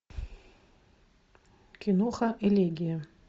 киноха элегия